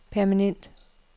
permanent